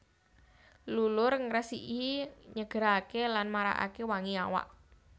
Lulur ngresiki nyegeraké lan marakaké wangi awak